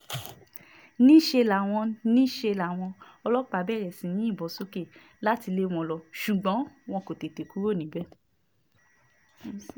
níṣẹ́ làwọn níṣẹ́ làwọn ọlọ́pàá bẹ̀rẹ̀ sí í yìnbọn sókè láti lé wọn lọ ṣùgbọ́n wọn kò tètè kúrò níbẹ̀